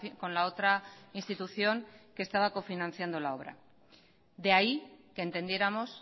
con la otra institución que estaba cofinanciando la obra de ahí que entendiéramos